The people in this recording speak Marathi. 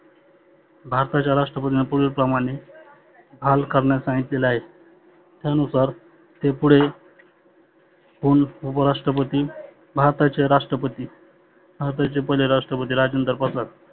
भारताच्या राष्ट्रपतींना पुढील प्रमाणे हाल करणारे सांगितले आहे. त्यानुसार ते पुढे हुन उपराष्ट्रपती भारताचे राष्ट्रपती. भारताचे पहिले राष्ट्रपती राजेंद्र प्रसाद